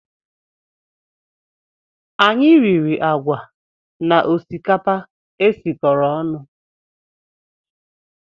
Anyị riri agwa na osikapa e sikọrọ ọnụ